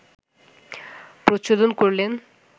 প্রচলন করলেন